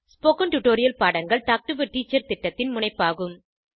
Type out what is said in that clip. spoken tutorial பாடங்கள் talk to a teacher திட்டத்தின் முனைப்பாகும்